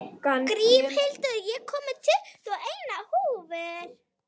Grímhildur, ég kom með tuttugu og eina húfur!